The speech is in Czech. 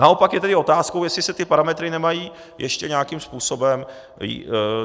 Naopak je tedy otázkou, jestli se ty parametry nemají ještě nějakým způsobem...